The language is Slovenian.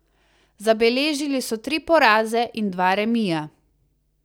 Zabeležili so tri poraze in dva remija.